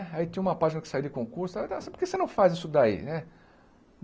Aí tinha uma página que saía de concurso, por que você não faz isso daí, né?